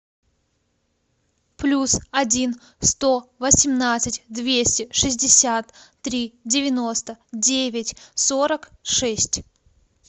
плюс один сто восемнадцать двести шестьдесят три девяносто девять сорок шесть